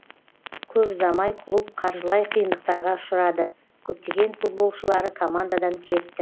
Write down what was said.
көп ұзамай клуб қаржылай қиындықтарға ұшырады көптеген футболшылары командадан кетті